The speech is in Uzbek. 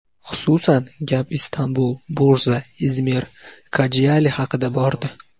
Xususan, gap Istanbul, Bursa, Izmir, Kojaeli haqida bordi.